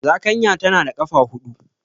Zakanya tana da ƙafa huɗu.